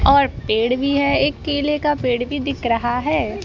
और पेड़ भी है एक केले का पेड़ भी दिख रहा है।